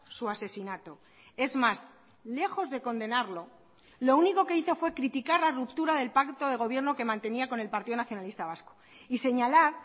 su asesinato es más lejos de condenarlo lo único que hizo fue criticar la ruptura del pacto de gobierno que mantenía con el partido nacionalista vasco y señalar